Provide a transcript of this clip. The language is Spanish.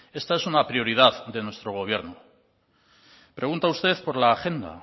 esta es una prioridad de nuestro gobierno pregunta usted por la agenda